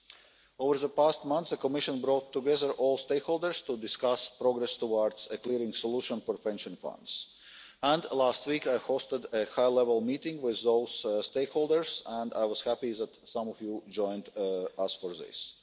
In recent months the Commission has brought together all stakeholders to discuss progress towards a clearing solution for pension funds, and last week I hosted a high level meeting with those stakeholders and I was happy that some of you joined us for this.